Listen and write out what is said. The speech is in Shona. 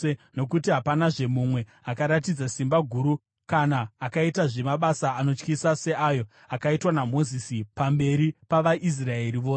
Nokuti hapanazve mumwe akaratidza simba guru kana akaitazve mabasa anotyisa seayo akaitwa naMozisi pamberi pavaIsraeri vose.